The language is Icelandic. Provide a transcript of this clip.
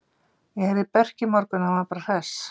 Ég heyrði í Berki í morgun og hann var bara hress.